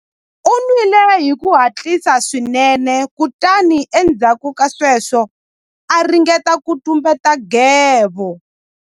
U nwile hi ku hatlisa swinene kutani endzhaku ka sweswo a ringeta ku tumbeta nghevo.